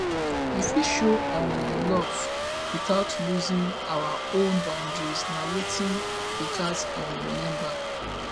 we fit show um love without losing our own boundaries na wetin we gats um remember